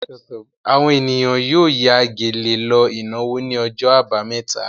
Àwọn ènìyàn yóò ya gèlè lọ ìnáwó ní ọjọ́ àbámẹ́ta.